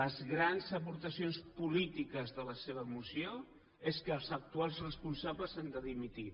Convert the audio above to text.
les grans aportacions polítiques de la seva moció és que els actuals responsables han de dimitir